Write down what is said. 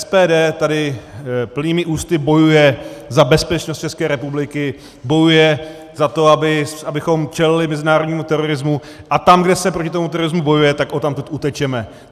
SPD tady plnými ústy bojuje za bezpečnost České republiky, bojuje za to, abychom čelili mezinárodnímu terorismu - a tam, kde se proti tomu terorismu bojuje, tak odtamtud utečeme.